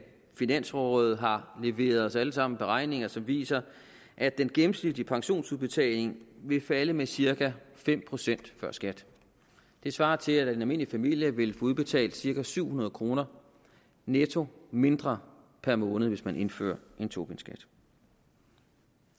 finansrådet har leveret os alle sammen beregninger som viser at den gennemsnitlige pensionsudbetaling vil falde med cirka fem procent før skat det svarer til at en almindelig familie vil få udbetalt cirka syv hundrede kroner netto mindre per måned hvis man indfører en tobinskat